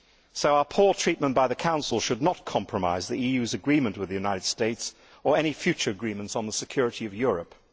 So our poor treatment by the Council should not compromise the EU's agreement with the United States, or any future agreements on the security of Europe.